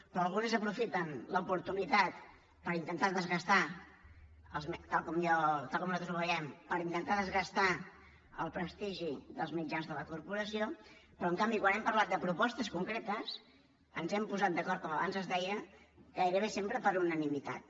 però algunes aprofiten l’oportunitat per intentar desgastar tal com nosaltres ho veiem per intentar desgastar el prestigi dels mitjans de la corporació però en canvi quan hem parlat de propostes concretes ens hem posat d’acord com abans es deia gairebé sempre per unanimitat